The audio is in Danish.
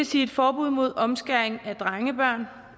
sige et forbud mod omskæring af drengebørn